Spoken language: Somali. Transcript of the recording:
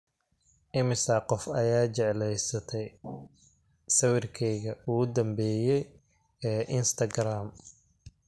imisa qof ayaa jeclaystay sawirkeygii ugu dambeeyay ee instagram